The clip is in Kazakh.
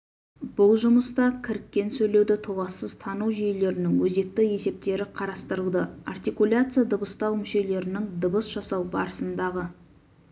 бұл жұмыста кіріккен сөйлеуді толассыз тану жүйелерінің өзекті есептері қарастырылды артикуляция дыбыстау мүшелерінің дыбыс жасау барысындағы